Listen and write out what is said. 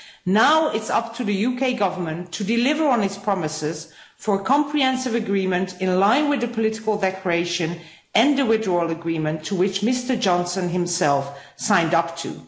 Now it's up to the UK Government to deliver on its promises for a comprehensive agreement in line with the Political Declaration and the Withdrawal Agreement to which Mr Johnson himself signed up to.